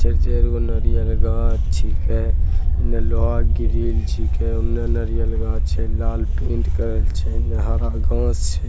चार-चारगो नारीयल गाछ छींके इने लोहा के ग्रिल छींके औने नारियल गाछ छै लाल पेंट करल छै इने हरा गाछ छै।